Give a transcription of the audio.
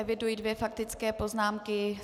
Eviduji dvě faktické poznámky.